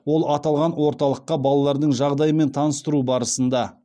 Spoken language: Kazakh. ол аталған орталықта балалардың жағдайымен таныстыру барысында